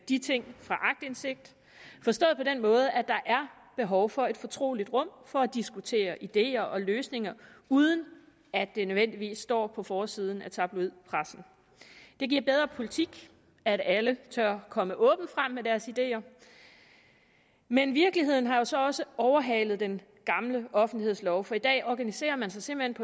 de ting fra aktindsigt forstået på den måde at der er behov for et fortroligt rum for at diskutere ideer og løsninger uden at det nødvendigvis står på forsiden af tabloidpressen det giver bedre politik at alle tør komme åbent frem med deres ideer men virkeligheden har jo så også overhalet den gamle offentlighedslov for i dag organiserer man sig simpelt